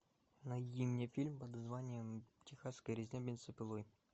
найди мне фильм под названием техасская резня бензопилой